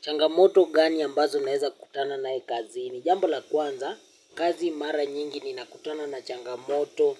Changamoto gani ambazo naeza kutana nae kazini. Jambo la kwanza, kazi mara nyingi ninakutana na changamoto,